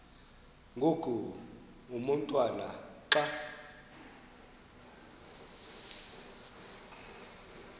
ngoku umotwana xa